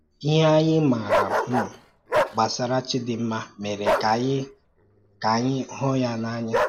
Ìhè ànyị màara um gbasàrà Chídìnma mèrè kà ànyị kà ànyị hụ́ ya n’ànya